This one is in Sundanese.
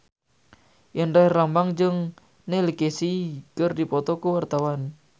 Indra Herlambang jeung Neil Casey keur dipoto ku wartawan